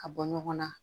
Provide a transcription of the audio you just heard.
Ka bɔ ɲɔgɔn na